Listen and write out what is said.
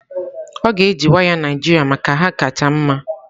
Ọ ga-eji waya Naijiria maka na ha kacha mma